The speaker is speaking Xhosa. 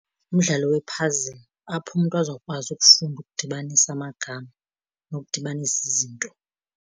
Umdlalo we-puzzle, apho umntu azokwazi ukufunda ukudibanisa amagama nokudibanisa izinto.